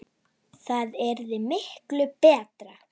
Það yrði miklu BETRA!